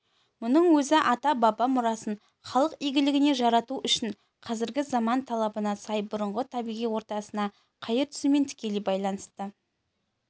мұның өзі ата-баба мұрасын халық игілігіне жарату үшін қазіргі заман талабына сай бұрынғы табиғи ортасына қайыр түсумен тікелей байланысты